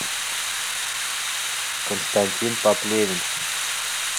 константин поплевин